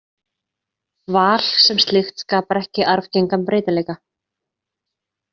Val sem slíkt skapar ekki arfgengan breytileika.